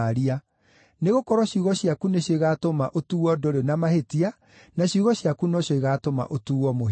Nĩgũkorwo ciugo ciaku nĩcio igaatũma ũtuuo ndũrĩ na mahĩtia, na ciugo ciaku no cio igaatũma ũtuuo mũhĩtia.”